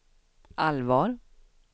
allvar